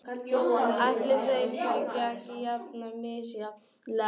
Ætli þeir tækju ekki jafn misjafnlega á því og þeir eru margir.